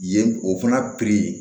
Yen o fana